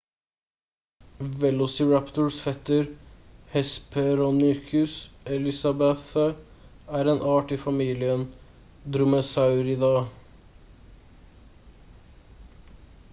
velociraptors fetter hesperonychus elizabethae er en art i familien dromaeosauridae